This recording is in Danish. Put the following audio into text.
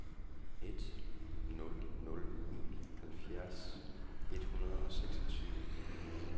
en nul nul en halvfjerds et hundrede og seksogtyve